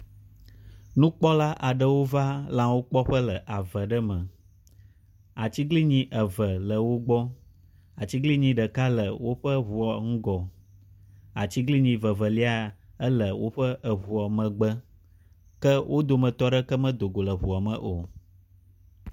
Nukpɔla aɖewo va lãwo kpɔƒe le ave ɖe me. Atiglinyi eve le wo gbɔ. Atiglinyi ɖeka le woƒe ŋua ŋgɔ. Atiglinyi vevelia ele woƒe ŋua megbe ke wo dometɔ ɖeke medo go le ŋua me o.